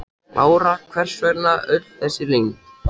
Lára: Hvers vegna öll þessi leynd?